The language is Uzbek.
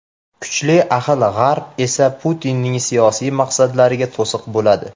Kuchli ahil G‘arb esa Putinning siyosiy maqsadlariga to‘siq bo‘ladi.